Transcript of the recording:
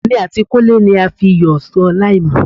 Èmi àti Kúnlé ni a fiyọ̀ sọ láìmọ̀.